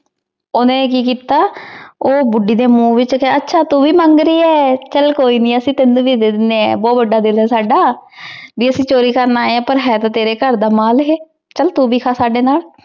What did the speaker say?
ਓਹਨੇ ਕੀ ਕੀਤਾ ਊ ਬੁਧਿ ਦੇ ਮੁਹ ਵਿਚ ਆਚਾ ਤੂ ਵੀ ਮੰਗ ਰਹੀ ਆਯ ਚਲ ਕੋਈ ਨਹੀ ਅਸੀਂ ਤੇਨੁ ਵੀ ਡੀ ਦੇਨੀ ਆਂ ਬੋਹਤ ਵਾਦਾ ਦਿਲ ਆਯ ਸਦਾ ਜੇ ਅਸੀਂ ਚੋਰੀ ਕਰਨ ਆਯ ਆਂ ਹੈ ਤੇ ਤੇਰੀ ਘਰ ਦਾ ਮਾਲ ਏਹੀ ਚਲ ਤੂ ਵੀ ਖਾ ਸਾਡੇ ਨਾਲ